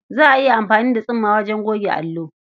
Za a iya amfani da tsumma wajen goge allo.